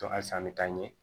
halisa an bɛ taa n ye